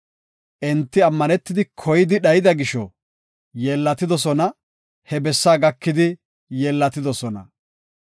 Enti ammanetidi koyidi dhayida gisho yilotidosona, he bessaa gakidi yeellatidosona.